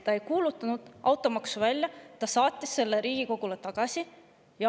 Ta ei kuulutanud automaksu välja, vaid saatis selle Riigikogule tagasi.